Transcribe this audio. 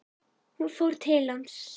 Hún fór til hans.